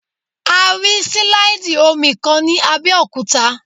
A rí sílàìdì omi kan ní Abẹ́òkúta